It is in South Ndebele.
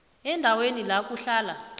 endaweni la kuhlala